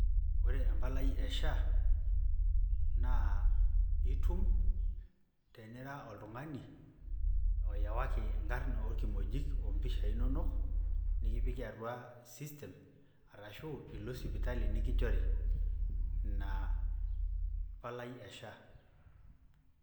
Wore empalai e SHA naa eitum tenira oltungani oowaki nkarn wolkimojik nikipiki atuaa system aashu sipitali nikinjori inaa palai ee SHA